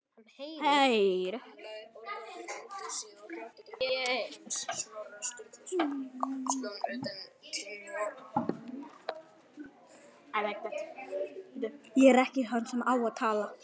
Hann heyrir.